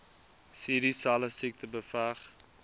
cdselle siekte beveg